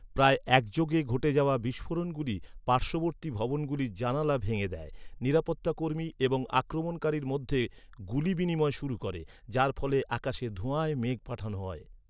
প্রায় একযোগে ঘটে যাওয়া বিস্ফোরণগুলি পার্শ্ববর্তী ভবনগুলির জানালা ভেঙে দেয়, নিরাপত্তা কর্মী এবং আক্রমণকারীর মধ্যে গুলি বিনিময় শুরু করে, যার ফলে আকাশে ধোঁয়ার মেঘ পাঠানো হয়।